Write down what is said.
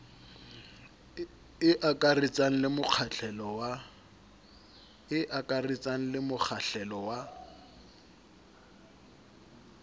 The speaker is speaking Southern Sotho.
e akaretsang le mokgahlelo wa